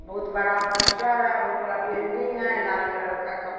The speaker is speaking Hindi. बहुत बड़ा पोस्टर है बहुत बड़ा बिल्डिंग है लाल कलर का कप --